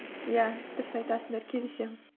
иә дұрыс айтасыңдар келісемін